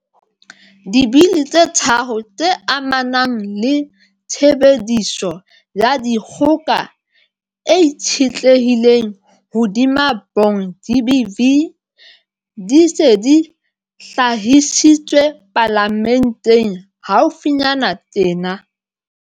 Dibili tse tharo tse amanang le tshebediso ya dikgoka e itshetlehileng hodima bong, GBV, di se di hlahisitswe Palamenteng haufinyana tjena.